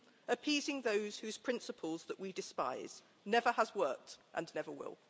Appeasing those whose principles that we despise never has worked and never will.